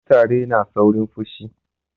kutare na saurin pushi